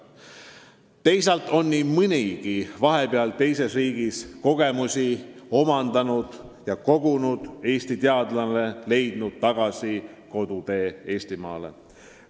Teisalt on nii mõnigi vahepeal mujal maailmas kogemusi kogunud Eesti teadlane leidnud tagasitee koju Eestimaale.